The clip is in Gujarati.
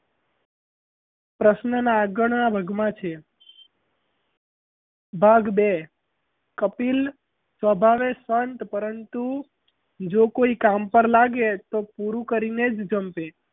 પ્રશ્નના આગળના ભાગ માં છે ભાગ બે કપિલ સ્વભાવે શાંત પરંતુ જો કોઈ કામ પર લાગે તો પૂરું કરીને જ જમ્પે.